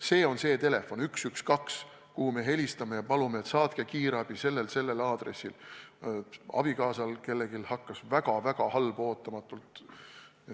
Siis on 112 see telefon, kuhu me helistame ja palume saata näiteks kiirabi sellel ja sellel aadressil, sest abikaasal või kellelgi hakkas ootamatut väga-väga halb.